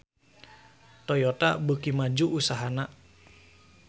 Toyota beuki maju usahana